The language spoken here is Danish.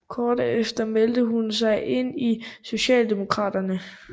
Kort efter meldte hun sig ind i Socialdemokraterne